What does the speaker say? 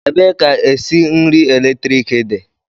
Ebee ka esi nri eletrik dị?